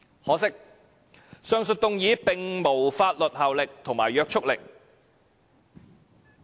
可惜，上述議案並無法律約束力。